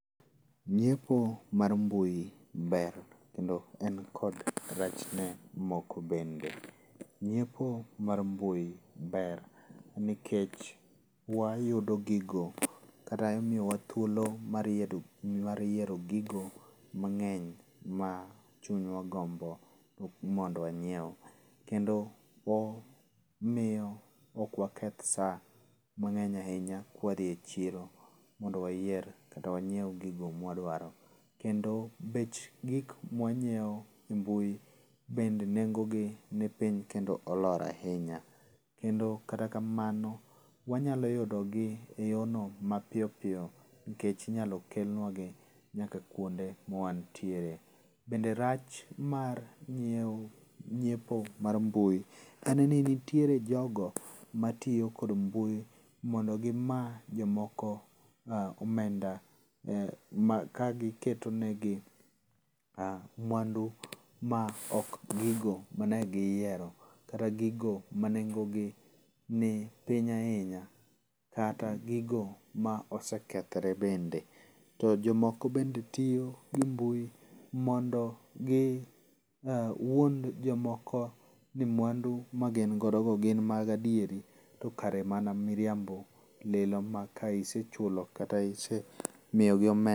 Nyiepo mar mbui ber endo en kod rachne moko bende. Nyiepo mar mbui ber nikech wayudo gigo kata imiyowa thuolo mar yiero gigo mang'eny ma chunywa ogombo mondo wanyiew. Kendo omiyo okwaketh sa mang'eny ahinya ka wadhi e chiro mondo wayier kata wanyiew gigo ma wadwaro. Kendo bech gik ma wanyiew e mbui bende nengo gi ni piny kendo olor ahinya. Kendo kata kamano wanyalo yudo gi e yo no mapiyo piyo nikech inyalo kelnewagi nyaka kuonde ma wantiere. Bende rach mar nyiewo nyiepo mag mbui en ni nitiere jogo matiyo kod mbui mondo gima jomoko omenda ka giketonegi mwandu ma ok gigo mane giyiero kata gigo ma nengo gi ni piny ahinya kata gigo ma osekethore bende. To jomoko bende tiyo gi mbui mondo giwuond jomoko ni mwandu ma gin godo go gin mag adieri to kare mana miriambo lilo ma ka isechulo kata isemiyo gi omenda...